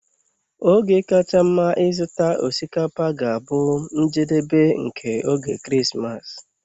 Oge kacha mma ịzụta osikapa ga-abụ njedebe nke oge Krismas.